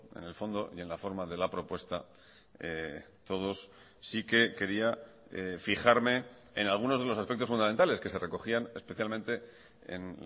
en el fondo y en la forma de la propuesta todos sí que quería fijarme en algunos de los aspectos fundamentales que se recogían especialmente en